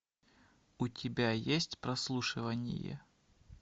у тебя есть прослушивание